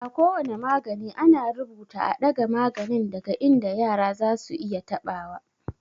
A ko wane magani, ana rubuta "a ɗaga maganin daga inda yara zasu iya taɓa wa."